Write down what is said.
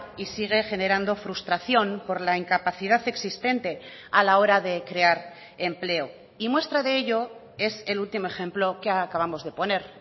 y sigue generando frustración por la incapacidad existente a la hora de crear empleo y muestra de ello es el último ejemplo que acabamos de poner